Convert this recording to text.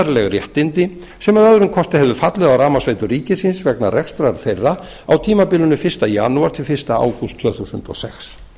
skattaréttarleg réttindi sem að öðrum kosti hefðu fallið á rafmagnsveitur ríkisins vegna rekstrar þeirra á tímabilinu fyrsta janúar til fyrsta ágúst tvö þúsund og sex